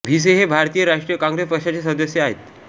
भिसे हे भारतीय राष्ट्रीय काँग्रेस पक्षाचे सदस्य आहेत